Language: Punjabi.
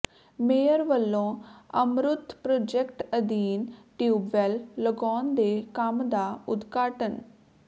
ਮੇਅਰ ਵਲੋਂ ਅਮਰੁਤ ਪ੍ਰੋਜੈਕਟ ਅਧੀਨ ਟਿਊਬਵੈਲ ਲਗਾਉਣ ਦੇ ਕੰਮ ਦਾ ਉਦਘਾਟਨ